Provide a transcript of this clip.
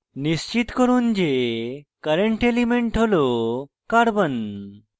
নিশ্চিত করুন যে current element tool carbon c